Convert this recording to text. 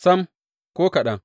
Sam, ko kaɗan!